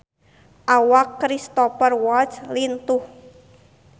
Awak Cristhoper Waltz lintuh